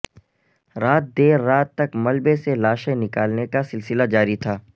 رات دیر رات تک ملبے سے لاشیں نکالنے کا سلسلہ جاری تھا